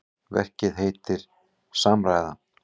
Verkið heitir Samræða.